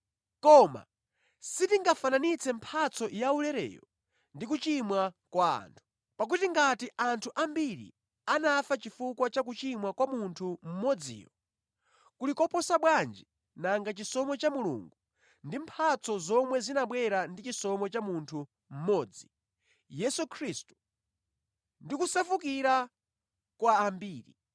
Koma sitingafananitse mphatso yaulereyo ndi kuchimwa kwa anthu. Pakuti ngati anthu ambiri anafa chifukwa cha kuchimwa kwa munthu mmodziyo, kuli koposa bwanji nanga chisomo cha Mulungu ndi mphatso zomwe zinabwera ndi chisomo cha munthu mmodzi, Yesu Khristu, ndi kusefukira kwa ambiri!